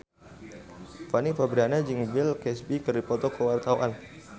Fanny Fabriana jeung Bill Cosby keur dipoto ku wartawan